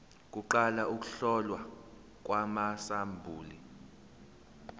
kuqala ukuhlolwa kwamasampuli